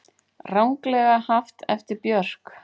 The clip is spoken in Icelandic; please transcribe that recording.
Ranglega haft eftir Björk